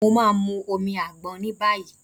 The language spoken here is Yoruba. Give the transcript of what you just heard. Mo ma mu omi àgbọn níbàyí.